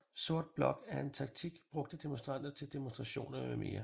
Sort Blok er en taktik brugt af demonstranter til demonstrationer mm